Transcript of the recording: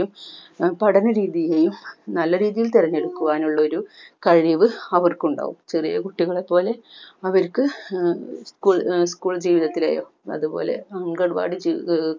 പഠന രീതിയെയും നല്ലരീതിയിൽ തിരഞ്ഞെടുക്കുവാനുള്ള ഒരു കഴിവ് അവർക്ക് ഉണ്ടാവും ചെറിയ കുട്ടികളെപ്പോലെ അവർക്ക് ഏർ school school ജീവിതത്തിലെയോ അതുപോലെ അംഗൻവാടി ജീവിതഏർ